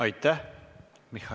Aitäh!